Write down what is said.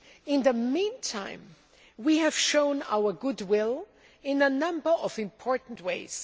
In the meantime, we have shown our goodwill in a number of important ways.